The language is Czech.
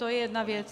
To je jedna věc.